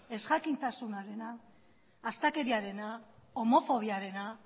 ezjakintasunarena astakeriarena homofobiarena